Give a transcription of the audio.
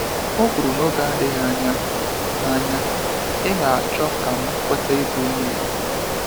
Ọ kwuru n'oge n'adịghị anya, ị anya, ị ga achọ ka m kweta ịbụ onye Igbo.